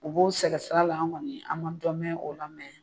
U b'o sɛgɛ sira la an kɔni an man dɔ mɛn o la mɛn.